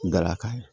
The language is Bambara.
Galakan